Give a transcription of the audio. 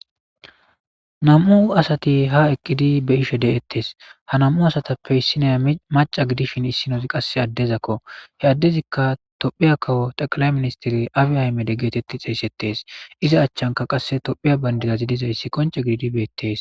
Nam'u asati ha eqqidi be ishe de7ettes ha nam'u asatappe issinaya maca gidishin issinoz qasse addezakko he addezikka tophiya kawo xaqala ministiri abe aymede geetetti xeeysettees iza achchanka qasse tophiya bandidazidizayssi qonce gididibeetees.